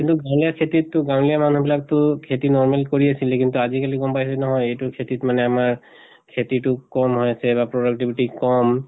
কিন্তু গাঁৱলীয়া খেতিত টো গাঁৱলীয়া মানুহ বিলাক টো খেতি normal কৰি আছেলে কিন্তু আজি কালি গম পাইছো নহয় এইটো খেতিত আমাৰ খেতিটো কম হৈছে বা productivity কম